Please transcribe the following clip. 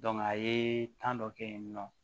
a ye dɔ kɛ yen nɔ